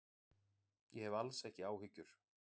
Ég hef alls ekki áhyggjur.